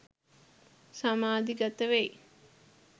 සමාධිගත වෙයි.